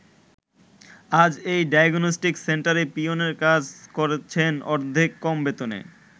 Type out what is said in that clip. আজ এই ডায়াগনস্টিক সেন্টারে পিওনের কাজ করছেন অর্ধেক কম বেতনে।